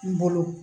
N bolo